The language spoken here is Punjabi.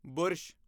ਬੁਰਸ਼